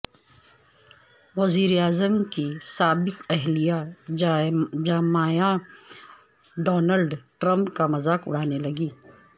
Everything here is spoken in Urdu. وزیراعظم کی سابق اہلیہ جمائما ڈونلڈ ٹرمپ کامذاق اڑانے لگیں